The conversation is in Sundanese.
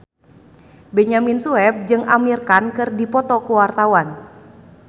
Benyamin Sueb jeung Amir Khan keur dipoto ku wartawan